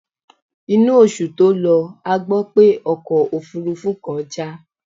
Inú oṣù tó lọ a gbó pé ọkọ̀ òfúrúfú kan já.